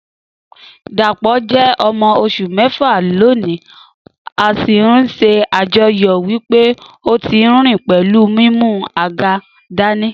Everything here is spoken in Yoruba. Dàpọ̀ jẹ ọmọ oṣù méfà lónì, a sì n ṣe àjoyọ̀ wípé ọ tí nrín pẹlú mímú àga dání